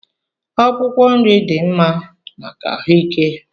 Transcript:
Akwụkwọ nri dị mma maka ahụike